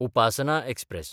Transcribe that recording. Upasana express